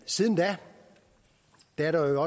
siden da er der jo